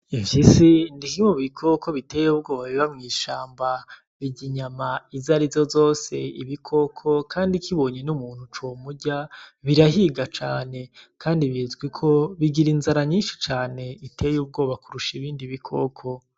Imfyisi ni kimwe mubikoko biteye ubwoba biba mwishamba , birya inyama izo arizo zose ibikoko kandi zibonye n'umuntu comurya birahiga cane kandi bizwiko bigira inzara nyinshi cane iteye ubwoba kurusha ibindi bikoko.